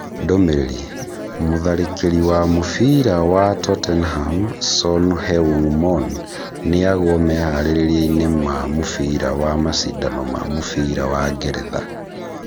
Ndũmĩrĩri, mũtharĩkĩri wa mũbĩra wa Tottenham Son Heung-mon noagwo meharĩria-inĩ ma mũbira wa macindano ma mũbira wa Ngeretha